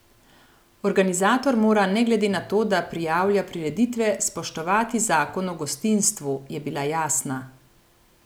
Organizator mora ne glede na to, da prijavlja prireditve, spoštovati zakon o gostinstvu, je bila jasna.